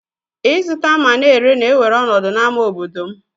Izụta ma na ere na ewere ọnọdụ na ama obodom.